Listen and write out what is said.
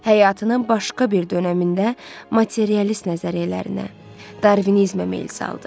Həyatının başqa bir dönəmində materialist nəzəriyyələrinə, Darvinizmə meyl saldı.